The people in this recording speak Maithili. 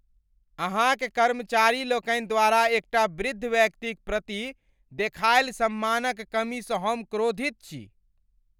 अहाँक कर्मचारी लोकनि द्वारा एकटा वृद्ध व्यक्तिक प्रति देखायल सम्मानक कमीसँ हम क्रोधित छी।